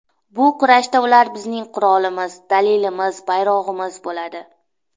Bu kurashda ular bizning qurolimiz, dalilimiz, bayrog‘imiz bo‘ladi.